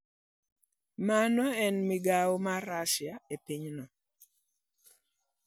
Mano en migawo mar Russia e pinyno.